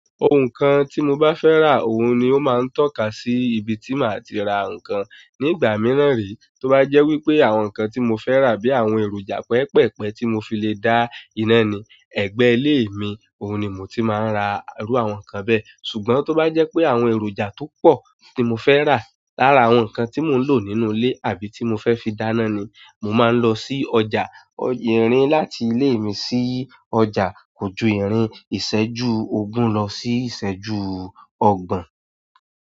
Ohùn kan tí mo bá fẹ́ rà, òun ni ó máa ń tọ́ka sí ibi tí màá ti ra nǹkan. Ní ìgbà mìíràn rí, tó bá jẹ́ wípé àwọn nǹkan tí mo fẹ́ rà bíi àwọn èròjà pẹpẹpẹ tí mo fi lè dá iná ni, ẹ̀gbẹ́ ilé mi, òun ni mo ti máa ń ra irú àwọn nǹkan bẹ́ẹ̀. Ṣùgbọ́n tó bá jẹ́ pé àwọn èròjà tó pọ̀ tí mo fẹ́ rà lára àwọn nǹkan tí mò ń lò nínú ilé àbí tí mo fẹ́ fi dáná ni, mo máa ń lọ sí ọjà. Irin láti ile mi si ọjà ko ju irin iseju ogun lo si iseju ogbon.